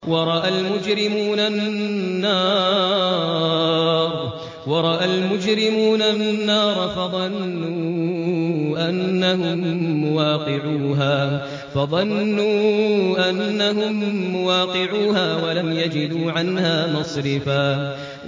وَرَأَى الْمُجْرِمُونَ النَّارَ فَظَنُّوا أَنَّهُم مُّوَاقِعُوهَا وَلَمْ يَجِدُوا عَنْهَا مَصْرِفًا